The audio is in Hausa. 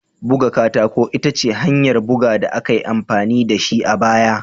Buga katako ita ce hanyar buga da aka yi amfani da shi a baya.